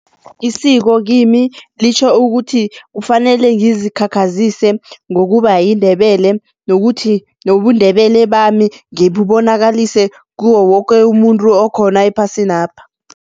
Isiko kimi litjho ukuthi kufanele ngizikhakhazisa ngokuba yiNdebele nokuthi nobuNdebele bami ngibubonakalise kuwo woke umuntu okhona ephasinapha.